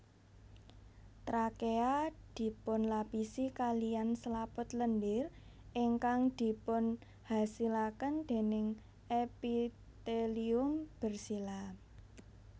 Trakea dipunlapisi kaliyan selaput lendir ingkang dipunhasilaken déning epitelium bersila